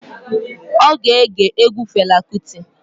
Ọ ga-ege egwu Fela Kuti.